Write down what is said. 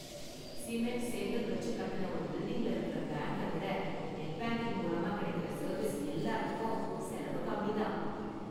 Cement, செங்கல் வச்சு கட்டுன ஒரு பில்டிங்ல இருக்குற பேங்க்கை விட நெட் பேங்கிங் மூலமா கிடைக்குற சர்வீஸ் எல்லாத்துக்கும் செலவு கம்மி தான்.